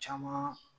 Caman